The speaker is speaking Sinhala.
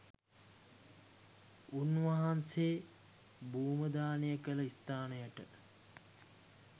උන්වහන්සේ භූමදාන කළ ස්ථානයට